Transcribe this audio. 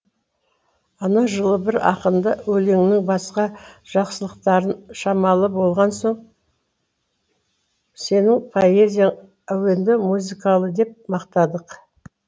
ана жылы бір ақынды өлеңінің басқа жақсылықтары шамалы болған соң сенің поэзияң әуенді музыкалы деп мақтадық